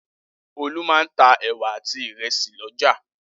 Olú máa ń ta ẹ̀wà àti ìrẹsì lọ́jà.